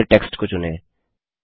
अब पूरे टेक्स्ट को चुनें